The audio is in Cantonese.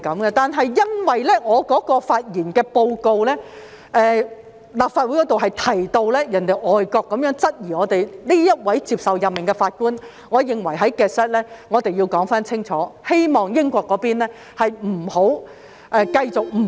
不過，由於在我剛才提出的報告中，曾指立法會提到有外國質疑這位接受任命的法官，所以我認為要在 Hansard 清楚說明，希望英國不要繼續誤會。